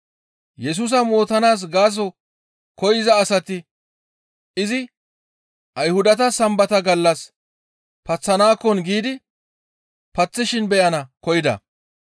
Yesusa mootanaas gaaso koyza asati izi Ayhudata Sambata gallas paththanaakkon giidi paththishin beyana koyida.